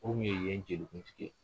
O tun ye yen jelikuntigi ye